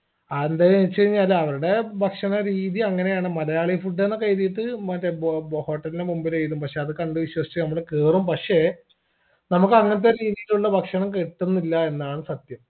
ആരുടേന്ന് വെച്ച് കൈനാൽ അവരുടെ ഭക്ഷണ രീതി അങ്ങനെയാണ് മലയാളി food ന്നൊക്കെ എഴുതീട്ട് മറ്റേ ബോ ബോ hotel ൻറെ മുമ്പിലെഴുതും പക്ഷെ അത് കണ്ട് വിശ്വസിച്ച് മ്മള് കേറും പക്ഷേ നമ്മക്ക് അങ്ങനത്തെ രീതിയിലുള്ള ഭക്ഷണം കിട്ടുന്നില്ല എന്നാണ് സത്യം